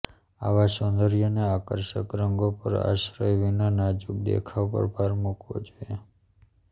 આવા સૌંદર્યને આકર્ષક રંગો પર આશ્રય વિના નાજુક દેખાવ પર ભાર મૂકવો જોઈએ